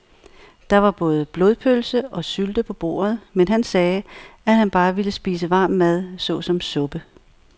Der var både blodpølse og sylte på bordet, men han sagde, at han bare ville spise varm mad såsom suppe.